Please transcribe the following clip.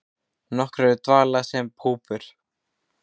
Nokkur eru í dvala sem púpur.